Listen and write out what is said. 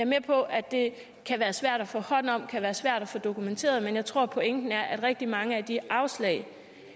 med på at det kan være svært at få hånd om kan være svært at få dokumenteret men jeg tror pointen er at rigtig mange af de afslag